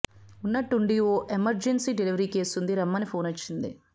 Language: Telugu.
ఉన్నట్టుండి ఓ ఎమర్జెన్సీ డెలివరీ కేసు ఉంది రమ్మని ఫోనొచ్చింది